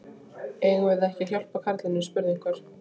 Eigum við ekki að hjálpa karlinum? spurði einhver.